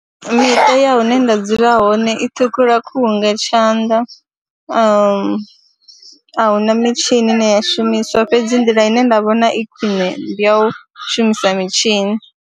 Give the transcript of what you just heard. Miṱa ya hune nda dzula hone i ṱhukhula khuhu nga tshanḓa a hu na mitshini ine ya shumiswa fhedzi nḓila ine nda vhona i khwine ndi ya u shumisa mitshini.